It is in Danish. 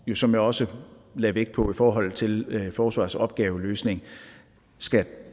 som jeg også lagde vægt på i forhold til forsvarets opgaveløsning skal